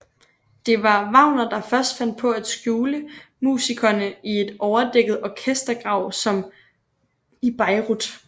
Det var Wagner der først fandt på at skjule musikerne i en overdækket orkestergrav som i Bayreuth